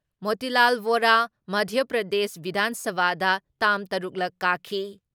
ꯃꯣꯇꯤꯂꯥꯜ ꯕꯣꯔꯥ, ꯃꯙ꯭ꯌ ꯄ꯭ꯔꯗꯦꯁ ꯕꯤꯙꯥꯟ ꯁꯚꯥꯗ ꯇꯥꯝ ꯇꯔꯨꯛꯂꯛ ꯀꯥꯈꯤ